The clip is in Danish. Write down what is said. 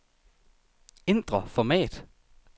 Ændr format.